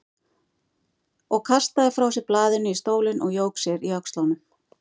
Og kastaði frá sér blaðinu í stólinn og jók sér í öxlunum.